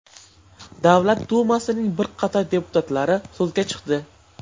Davlat dumasining bir qator deputatlari so‘zga chiqdi.